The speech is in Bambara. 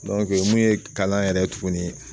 Dɔnke mun ye kalan yɛrɛ ye tuguni